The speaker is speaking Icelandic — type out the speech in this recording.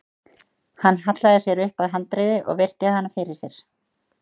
Hann hallaði sér upp að handriði og virti hana fyrir sér.